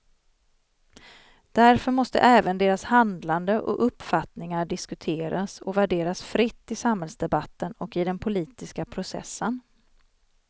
Därför måste även deras handlande och uppfattningar diskuteras och värderas fritt i samhällsdebatten och i den politiska processen.